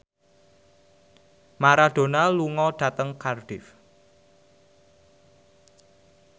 Maradona lunga dhateng Cardiff